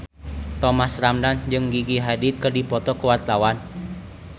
Thomas Ramdhan jeung Gigi Hadid keur dipoto ku wartawan